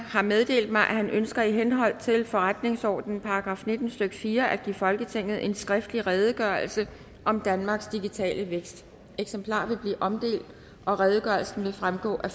har meddelt mig at han ønsker i henhold til forretningsordenens § nitten stykke fire at give folketinget en skriftlig redegørelse om danmarks digitale vækst eksemplarer vil blive omdelt og redegørelsen vil fremgå af